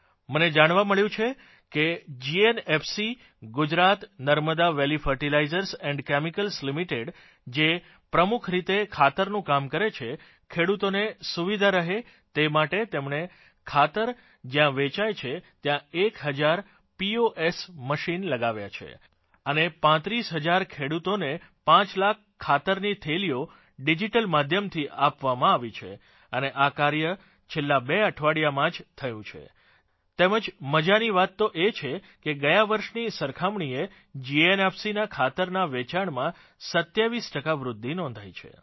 મને જાણવા મળ્યું છે કે GNFC Gujarat Narmada valley fertilizers and chemicals limited જે પ્રમુખ રીતે ખાતરનું કામ કરે છે ખેડૂતોને સુવિધા રહે તે માટે તેમણે ખાતર જ્યાં વેચાય છે ત્યાં એક હજાર પોસ માચીને લગાવ્યા છે અને 35 હજાર ખેડૂતોને 5 લાખ ખાતરની થેલીઓ ડિજીટલ માધ્યમથી આપવામાં આવી છે અને આ કાર્ય છેલ્લાં બે અઠવાડિયામાં જ થયું છે તેમજ મજાની વાત તો એ છે કે ગયા વર્ષની સરખામણીએ જીએનએફસી ના ખાતરની વેચાણમાં 27 ટકા વૃધ્ધિ નોંધાઇ છે